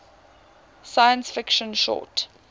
science fiction short